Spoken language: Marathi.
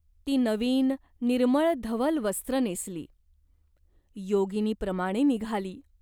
ती नवीन निर्मळ धवल वस्त्र नेसली. योगिनीप्रमाणे निघाली.